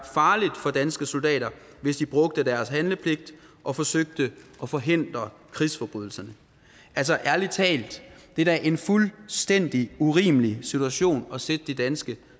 farligt for danske soldater hvis de brugte deres handlepligt og forsøgte at forhindre krigsforbrydelserne altså ærlig talt det er da en fuldstændig urimelig situation at sætte de danske